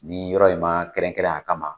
Ni yɔrɔ in ma kɛrɛnkɛnɛn a kama